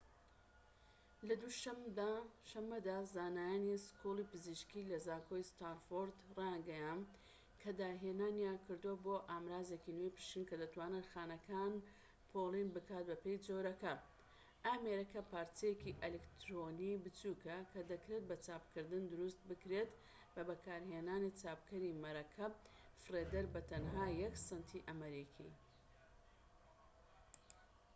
لە دوو شەمەدا زانایانی سکوڵی پزیشكی لە زانکۆی ستانفۆرد رایانگەیاند کە داهێنانیان کردووە بۆ ئامرازێکی نوێی پشکنین کە دەتوانێت خانەکان پۆلێن بکات بەپێی جۆرەکان ئامێرەکە پارچەیەکی ئەلیکترۆنیی بچوکە کە دەکرێت بە چاپکردن دروست بکرێت بە بەکارهێنانی چاپکەری مەرەکەب فڕێدەر بە تەنها یەك سەنتی ئەمریکی